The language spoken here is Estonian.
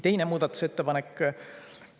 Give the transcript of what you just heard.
Teine muudatusettepanek.